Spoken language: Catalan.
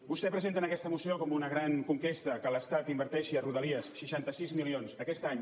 vostè presenta en aquesta moció com una gran conquesta que l’estat inverteixi a rodalies seixanta sis milions aquest any